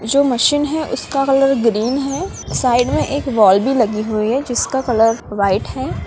जो मशीन है उसका कलर ग्रीन है साइड में एक बॉल भी लगी हुई है जिसका कलर वाइट है।